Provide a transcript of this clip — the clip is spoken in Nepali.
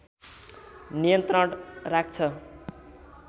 नियन्त्रण राख्छ